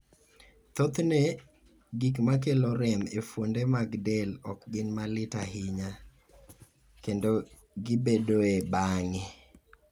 Thothne, gik makelo rem e fuonde mag del ok gin malit ahinya, kendo gibedoe bang'e.